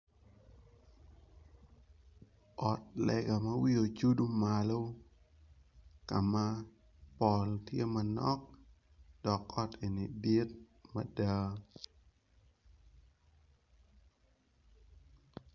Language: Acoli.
Ot lega ma wiye ocudu malo kama pol tye manok dok ot eni dit mada.